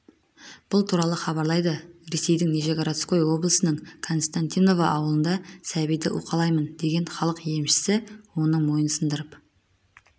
бұл туралы хабарлайды ресейдің нижегородской облысының константиново ауылында сәбиді уқалаймын деген халық емшісі оның мойнын сындырып